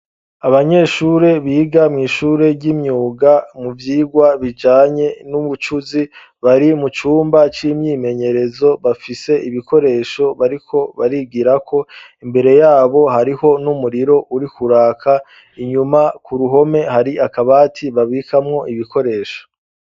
Abanyeshure biga mw'ishure ry'imyuga mu vyirwa bijanye n'ubucuzi bari mu cumba c'imyimenyerezo bafise ibikoresho bariko barigirako imbere yabo hariho n'umuriro uri kuraka inyuma ku ruhome hari akabati babikamwo ibikoresho.